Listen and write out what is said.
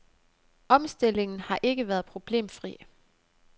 Omstillingen har ikke været problemfri.